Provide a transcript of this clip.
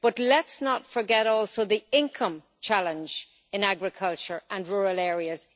But let us not forget the income challenge in agriculture and in rural areas.